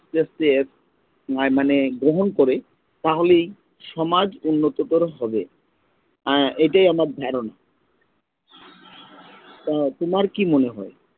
মানে গ্রহণ করে তাহলেই সমাজ উন্নত করা হবে এটাই আমার ধ্যারোন, তোমার কি মনে হয়